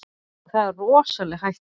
Það er rosaleg hætta.